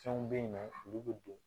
Fɛnw bɛ yen nɔ olu bɛ don